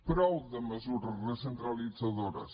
prou de mesures recentralitzadores